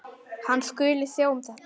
Hann skuli sjá um þetta.